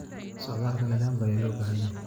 La socodka nidaamka ayaa loo baahan yahay.